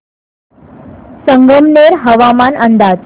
संगमनेर हवामान अंदाज